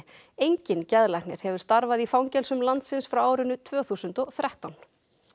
enginn geðlæknir hefur starfað í fangelsum landsins frá árinu tvö þúsund og þrettán